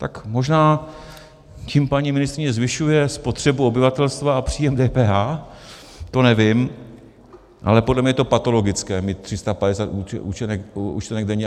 Tak možná tím paní ministryně zvyšuje spotřebu obyvatelstva a příjem DPH, to nevím, ale podle mě je to patologické mít 350 účtenek denně.